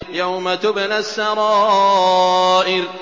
يَوْمَ تُبْلَى السَّرَائِرُ